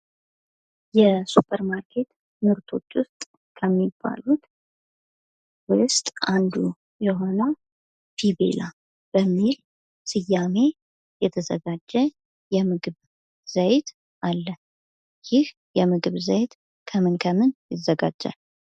የሱፐር ማርኬት ምርቶች ውስጥ ከሚባሉት ውስጥ አንዱ የሆነው ፊቤላ በሚል ስያሜ የተዘጋጀ የምግብ ዘይት አለ። የምግብ ዘይት ከምን ከምን ይዘጋጃል።